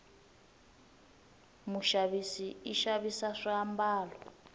mushavisi ishavisa swi ambalo